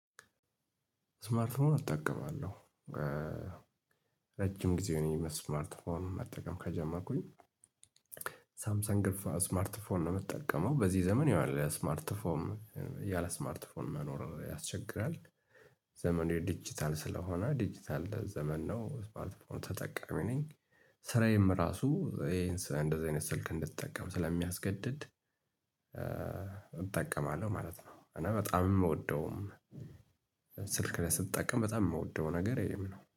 ስማርትፎን እጠቀማለሁ። ረጅም ጊዜ ሆነኝ ስማርትፎን መጠቀም ከጀመርኩኝ ሳምሰን ግፍ ስማርት ፎን ነው የምጠቀመው በዚህ ዘመን ይሆናል ስማርት ፎም ያለ ስማርት መኖር ያስቸግራል። ዘመኑ የዲጂታል ስለሆነ ዲጂታል ዘመን ነው ስማርት ፎን ተጠቃሚ ነኝ። ስራዬም እራሱ እንደዚህ አይነት ስልክ እንድጠቀም ስለሚያስገድድ እጠቀማለሁ ማለት ነው። እና በጣም የምወደውም ስልክ ስጠቀም በጣም የምወደው ነገር ይሄ ነው